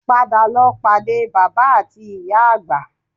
Padà lọ pàdé bàbá ati ìyá àgbà